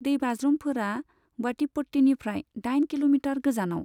दैबाज्रुमफोरा वाटिपट्टीनिफ्राय दाइन किल'मिटार गोजानाव।